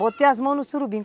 Botei as mãos no surubim.